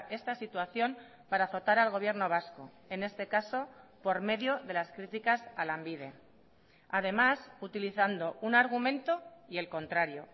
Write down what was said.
esta situación para azotar al gobierno vasco en este caso por medio de las criticas a lanbide además utilizando un argumento y el contrario